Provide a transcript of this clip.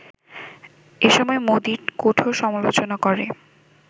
এসময় মোদির কঠোর সমালোচনা করে